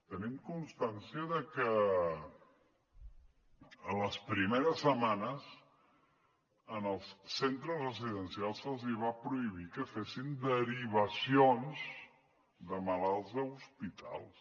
tenim constància de que a les primeres setmanes als centres residencials se’ls va prohibir que fessin derivacions de malalts a hospitals